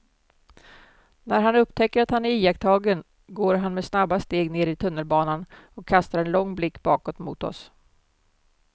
När han upptäcker att han är iakttagen går han med snabba steg ner i tunnelbanan och kastar en lång blick bakåt mot oss.